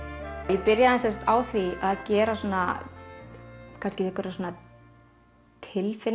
ég byrjaði sem sagt á því að gera svona einhverja